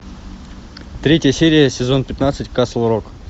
третья серия сезон пятнадцать касл рок